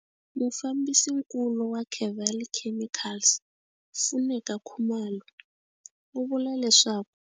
Mufambisinkulu wa Kevali Chemicals Funeka Khumalo u vula leswaku.